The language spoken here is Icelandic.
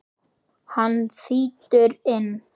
Hann þýtur inn.